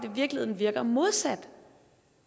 i virkeligheden virker modsat